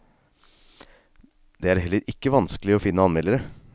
Det er heller ikke vanskelig å finne anmeldere.